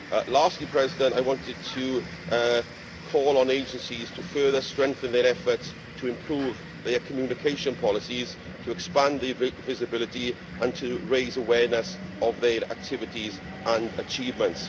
Lastly, I wanted to call on agencies to further strengthen their efforts to improve their communication policies, expand their visibility and raise awareness of their activities and achievements.